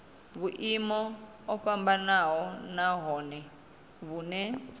vhulimi o vhofhanaho nahone vhune